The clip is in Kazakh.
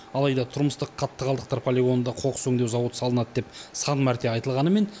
алайда тұрмыстық қатты қалдықтар полигонында қоқыс өңдеу зауыты салынады деп сан мәрте айтылғанымен